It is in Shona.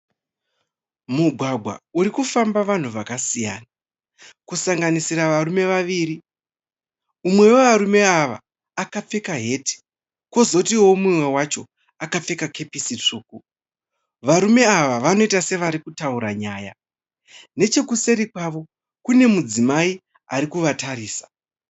Mugwagwa urikufamba vanhu vakasiyana. Kusanganisira varume vaviri. Mumwe wavarume ava akapfeka heti, Kozotiwo mumwe wacho akapfeka kepisi tsvuku. Varume ava vanoita sevari kutaura nyaya. Nechekuseri kwavo, kune mudzimai ari kuvatarisa.